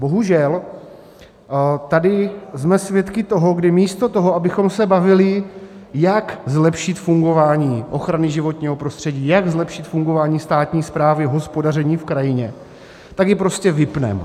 Bohužel tady jsme svědky toho, kdy místo toho, abychom se bavili, jak zlepšit fungování ochrany životního prostředí, jak zlepšit fungování státní správy, hospodaření v krajině, tak ji prostě vypneme.